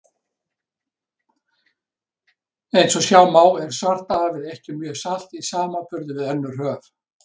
Eins og sjá má er Svartahafið ekki mjög salt í samanburði við önnur höf.